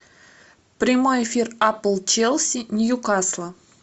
прямой эфир апл челси ньюкасл